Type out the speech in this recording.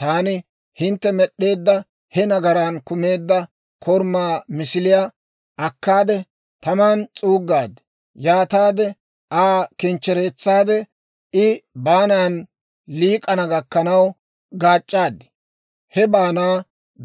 Taani hintte med'd'eedda he nagaran kumeedda korumaa misiliyaa akkaade, taman s'uuggaad; yaataade Aa kinchchereetsaade I baanaadan liik'ana gakkanaw gaac'c'aad; he baanaa